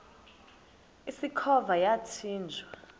usikhova yathinjw a